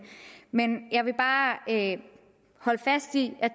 men jeg vil bare holde fast i at